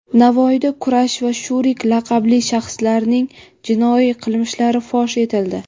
Navoiyda "Kurash" va "Shurik" laqabli shaxslarning jinoiy qilmishlari fosh etildi.